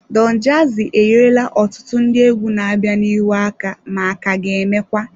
Don jazzy enyerela ọtụtụ ndị egwu na-abịa n'ihu aka ma ka ga-emekwa.